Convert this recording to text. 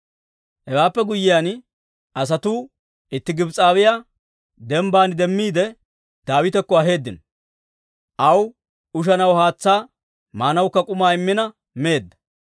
Hewaappe guyyiyaan, asatuu itti Gibs'awiyaa dembbaan demmiide, Daawitakko aheeddino; aw ushanaw haatsaa, maanawukka k'umaa immina meedda.